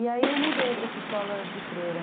E aí eu mudei para essa escola de freira.